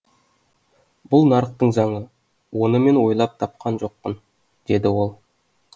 бұл нарықтың заңы оны мен ойлап тапқан жоқпын деді ол